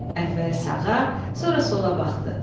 Əvvəl sağa, sonra sola baxdı.